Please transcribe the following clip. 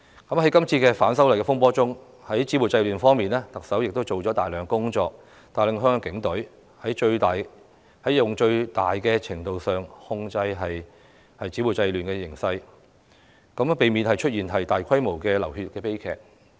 在今次反修例風波之中，特首在止暴制亂方面做了大量工作，帶領香港警隊在最大程度上控制暴亂的形勢，避免出現大規模的流血悲劇。